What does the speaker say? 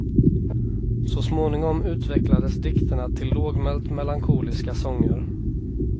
Så småningom utvecklades dikterna till lågmält melankoliska sånger.